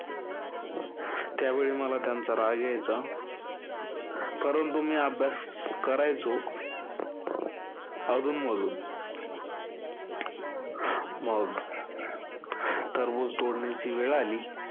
त्यावेळी मला त्यांचा राग यायचा. परंतु मी अभ्यास करायचो. अधून-मधून मग टरबूज तोडण्याची वेळ आली.